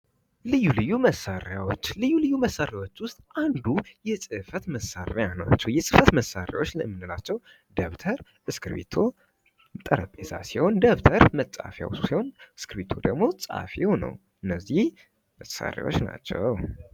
ልዩ ልዩ መሰሪዎች ልዩ ልዩ መሰሪዎች ውስጥ አንዱ የጽህፈት መሳርያ ነው። የጽህፈት መሳሪያዎች የምንላቸው ደብተር እስክሪቶ ጠረቤዛ ሲሆን ደብተር መጽሐፊው ሲሆን እስክሪፕት ደግሞ ፀሐፊው ነው እነዚህ መሳሪያዎች ናቸው